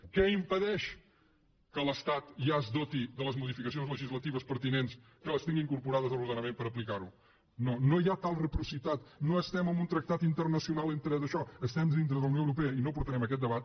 què impedeix que l’estat ja es doti de les modificacions legislatives pertinents que les tingui incorporades a l’ordenament per aplicar ho no hi ha tal reciprocitat no estem en un tractat internacional entre daixò estem dintre de la unió europea i no portarem aquest debat